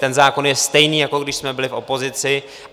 Ten zákon je stejný, jako když jsme byli v opozici.